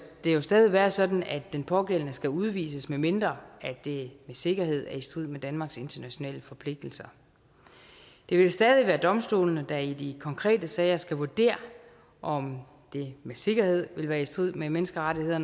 jo stadig være sådan at den pågældende skal udvises medmindre det med sikkerhed er i strid med danmarks internationale forpligtelser det vil stadig være domstolene der i de konkrete sager skal vurdere om det med sikkerhed vil være i strid med menneskerettighederne